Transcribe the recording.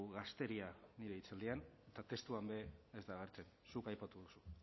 gazteria nire hitzaldian eta testuan ere ez da agertzen zuk aipatu duzu